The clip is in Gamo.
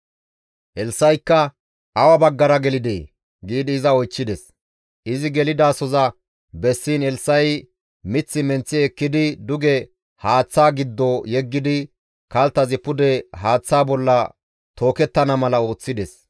Elssa7ikka, «Awa baggara gelidee?» giidi iza oychchides. Izi gelidasoza bessiin Elssa7i mith menththi ekkidi duge haaththaa giddo yeggidi kalttazi pude haaththa bolla tookettana mala ooththides.